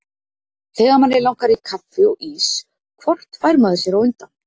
Þegar manni langar í kaffi og ís hvort fær maður sér á undan?